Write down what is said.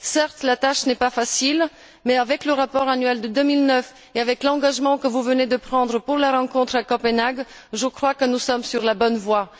Certes la tâche n'est pas facile, mais avec le rapport annuel de 2009 et avec l'engagement que vous venez de prendre pour la rencontre à Copenhague, je crois que nous sommes sur la bonne voie.